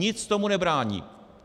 Nic tomu nebrání.